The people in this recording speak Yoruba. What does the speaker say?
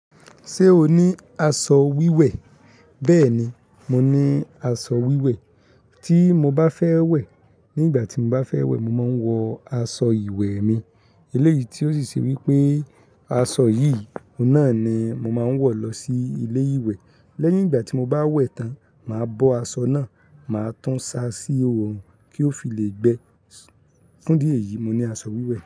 Ṣé o ní aṣọ wíwẹ̀? Bẹ́ẹ̀ni, mo ní aṣọ wíwẹ̀. Tí mo bá fẹ́ wẹ̀, nígbà tí mo bá fẹ́ wẹ̀, mo máa ń wọ aṣọ ìwẹ̀ mi. Eléyìí tí ó sì ṣe wípé aṣọ yìí náà ni mo máa ń wọ̀ lọ sí ilé ìwẹ̀. Lẹ́yìn ìgbà tí mo bá wẹ̀ tán, màá bọ aṣọ náà, màá tún sa sí òòrùn kí ó fi lè gbẹ. Kúndíè yìí, mo ní aṣọ wíwẹ̀